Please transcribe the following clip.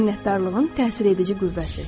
Minnətdarlığın təsir edici qüvvəsi.